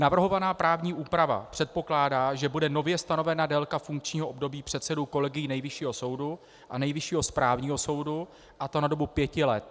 Navrhovaná právní úprava předpokládá, že bude nově stanovena délka funkčního období předsedů kolegií Nejvyššího soudu a Nejvyššího správního soudu, a to na dobu pěti let.